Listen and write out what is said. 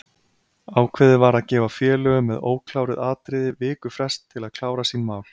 Ákveðið var að gefa félögum með ókláruð atriði viku frest til að klára sín mál.